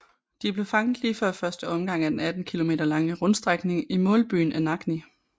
De blev fanget lige før første omgang af den 18 kilometer lange rundstrækning i målbyen Anagni